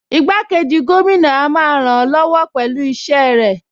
Igbákejì gómìnà a máa ràn-án lọ́wọ́ pẹ̀lú iṣẹ́ rẹ̀